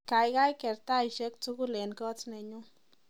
Kaikai ker taishek tukul eng kotnenyu